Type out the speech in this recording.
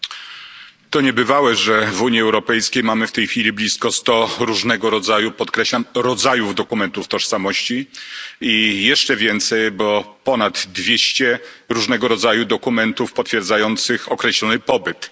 Panie Przewodniczący! To niebywałe, że w Unii Europejskiej mamy w tej chwili blisko sto różnego rodzaju, podkreślam różnego rodzaju dokumentów tożsamości i jeszcze więcej, bo ponad dwieście różnego rodzaju dokumentów potwierdzających określony pobyt.